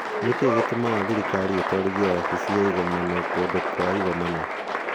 "Nĩ kĩĩ gĩtũmaga thirikari ĩtwarithie wabici ya igomano kana kũndũ kũa igomano?